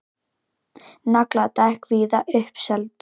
Nagladekk víða uppseld